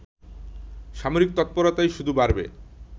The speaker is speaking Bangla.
সামরিক তৎপরতাই শুধু বাড়বে